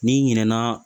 N'i ɲinɛ na